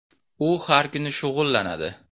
U har kuni shug‘ullanadi.